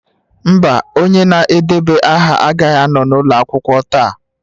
Mba, onye na-edeba aha agaghị anọ n'ụlọ akwụkwọ taa.